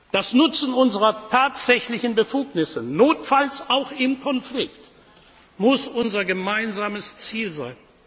haben. Das Nutzen unserer tatsächlichen Befugnisse notfalls auch im Konflikt muss unser gemeinsames